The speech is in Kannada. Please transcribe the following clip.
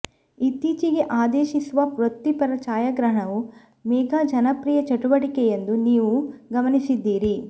ಇತ್ತೀಚೆಗೆ ಆದೇಶಿಸುವ ವೃತ್ತಿಪರ ಛಾಯಾಗ್ರಹಣವು ಮೆಗಾ ಜನಪ್ರಿಯ ಚಟುವಟಿಕೆಯೆಂದು ನೀವು ಗಮನಿಸಿದ್ದೀರಿ